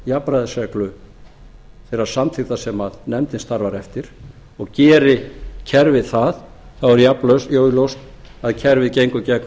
jafnræðisreglu þeirrar samþykktar sem nefndin starfar eftir og geri kerfið það er jafn augljóst að kerfið gengur gegn